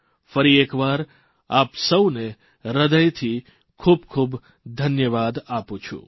ફરી એક વાર આપ સૌને હૃદયથી ખૂબખૂબ ધન્યવાદ આપું છું